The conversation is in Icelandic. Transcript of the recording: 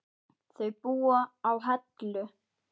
Þau búa á Hellu.